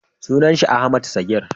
sunan shi Ahmad Sagir